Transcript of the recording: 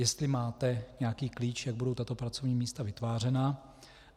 Jestli máte nějaký klíč, jak budou tato pracovní místa vytvářena?